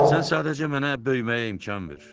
Sən sadəcə mənə böyüməyə imkan ver.